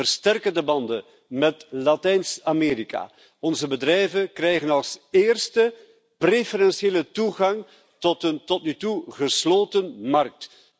We versterken de banden met Latijns Amerika. Onze bedrijven krijgen als eerste preferentiële toegang tot een tot nu toe gesloten markt.